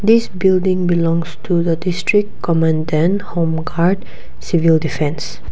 this building belongs to the district commandant homeguard civil defence.